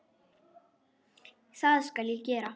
Það skal ég gera.